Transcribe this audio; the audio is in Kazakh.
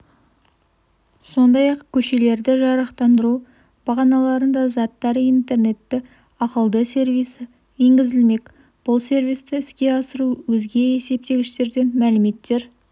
сондай-ақ көшелерді жарықтандыру бағаналарында заттар интернеті ақылды сервисі енгізілмек бұл сервисті іске асыру өзге есептегіштерден мәліметтер